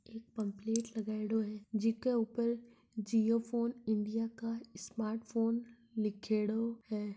एक पेम्पलेट लगायोडो है जी के ऊपर जियो फोन इंडिया का स्मार्ट फोन लिखियोडो है।